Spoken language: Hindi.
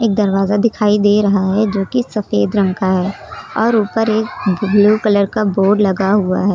दरवाजा दिखाई दे रहा है जो की सफेद रंग का है और ऊपर एक ब्लू कलर का बोर्ड लगा हुआ है।